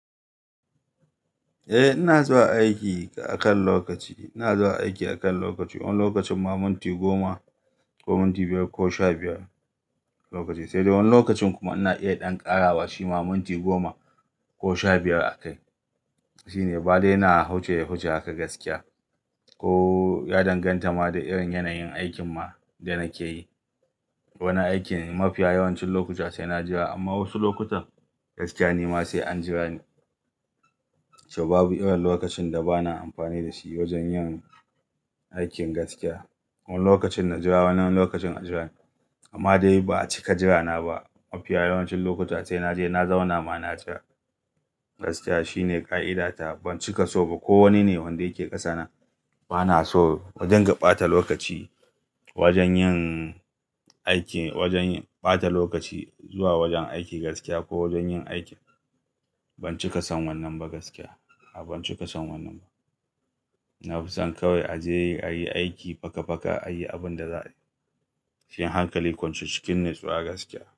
Eh ina zuwa aiki akan lokaci, ina zuwa aiki akan lokaci. Wani lokacin ma minti goma ko minti biyar ko sha biyar lokaci. Sai dai wani lokacin kuma ana iya ɗan ƙarawa shi ma minti goma ko sha biyar a kai. Shine. Ba dai ina huce huce haka gaskiya ko ya danganta ma da irin yanayin aikin ma da nake yi. Wani aikin mafiya yawancin lokuta sai na jira amma wasu lokutan gaskiya ne ma sai an jira ne. To babu irin lokacin da bana amfani da shi wajen yin aikin gaskiya. Wani lokacin na jira, wani lokacin na jira. Amma dai ba a cika jirana ba. Mafi yawancin lokuta sai na je na zauna mana gaskiya shine ƙa'idata. Ban cika so ba ko wane ne wanda yake ƙasa na bana so wajen gaɓata lokaci wajen yin aiki, wajen ɓata lokaci zuwa wajen aiki gaskiya ko wajen yin aiki. Ban cika son wannan ba gaskiya. A'a ban cika son wannan ba. Na fi son kawai a je a yi aiki faka faka, a yi abin da za a yi. Cikin hankali kwance cikin ne suwa gaskiya.